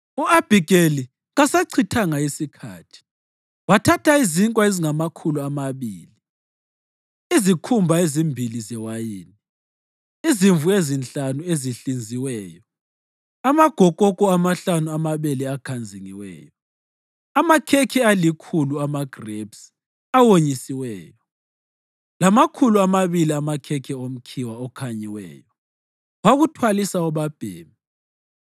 U-Abhigeli kasachithanga sikhathi. Wathatha izinkwa ezingamakhulu amabili, izikhumba ezimbili zewayini, izimvu ezinhlanu ezihlinziweyo, amagokoko amahlanu amabele akhanzingiweyo, amakhekhe alikhulu amagrebisi awonyisiweyo, lamakhulu amabili amakhekhe omkhiwa okhanyiweyo, wakuthwalisa obabhemi.